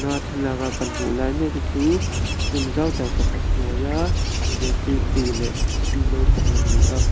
thlalaka kan hmuh lai mek hi chu room zau tak pakhat hnuaia zirtirtu leh sikul naupang an ni a.